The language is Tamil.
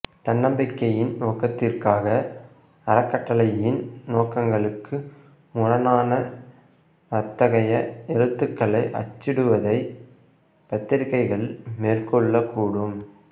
தன்னம்பிக்கையின் நோக்கத்திற்காக அறக்கட்டளையின் நோக்கங்களுக்கு முரணான அத்தகைய எழுத்துக்களை அச்சிடுவதை பத்திரிகைகள் மேற்கொள்ளக்கூடும்